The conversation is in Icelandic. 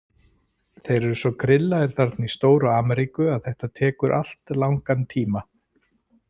Þeir eru svo grillaðir þarna í stóru Ameríku að þetta tekur allt langan tíma.